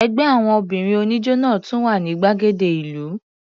Ẹgbẹ́ àwọn obìnrin oníjó náà tún wà ní gbàgede ìlú.